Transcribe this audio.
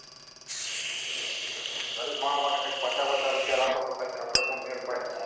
ગરીબ માણસ માટે પચાસ વાચાસ પૈસા રાખો તો કઈ કપડા નો મેલ પડે